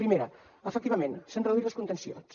primera efectivament s’han reduït les contencions